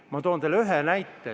Ma toon teile ühe näite.